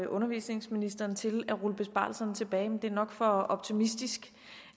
undervisningsministeren til at rulle besparelserne tilbage men det er nok for optimistisk